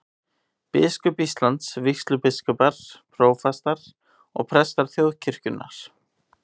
Biskup Íslands, vígslubiskupar, prófastar og prestar þjóðkirkjunnar.